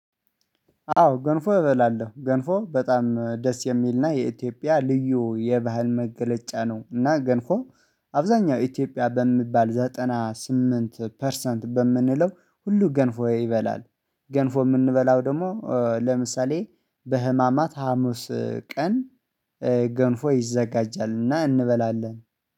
አዎ ገንፎ እበላለሁ ገንፎ በጣም ደስ የሚልና የኢትዮጵያ ልዩ የባህል መገለጫ ነው። እና ገንፎ አብዛኛው ኢትዮጵያ በሚባል ዘጠና ስምንት ፐርሰንት በምንለው ሁሉ ገንፎ ይበላል። ገንፎ የምንበላው ደግሞ ለምሳሌ በሕማማት ሀሙስ ገንፎ ይዘጋጃል እና እንበላለን